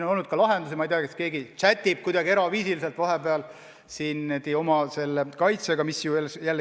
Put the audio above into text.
On pakutud ka lahendusi, näiteks keegi chat'ib kuidagi eraviisiliselt vahepeal oma kaitsjaga või midagi sellist.